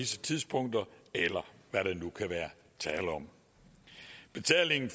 tidspunkter eller hvad der nu kan være tale om betalingen